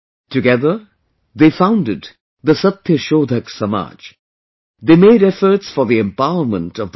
Together they founded the Satyashodhak Samaj...they made efforts for the empowerment of the people